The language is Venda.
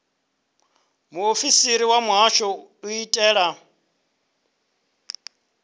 muofisiri wa muhasho u itela